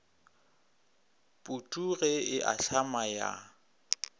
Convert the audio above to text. putu ge e ahlama ya